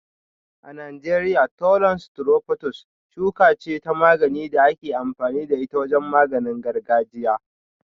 A Najeriya, Thollon strophanthus shuka ce ta magani da ake amfani da ita wajen maganin gargajiya.